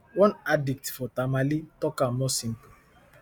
one addict for tamale tok am more simple